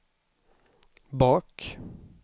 bak